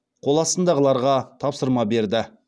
қоластындағыларға тапсырма берді